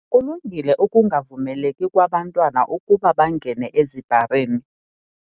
Kulungile ukungavumeleki kwabantwana ukuba bangene ezibharini.